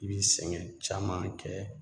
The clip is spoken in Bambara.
I bi sɛgɛn caman kɛ